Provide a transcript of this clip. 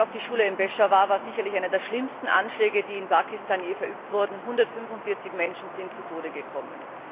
Der Anschlag auf die Schule in Peschawar war sicherlich einer der schlimmsten Anschläge, die in Pakistan je verübt wurden 145 Menschen sind zu Tode gekommen.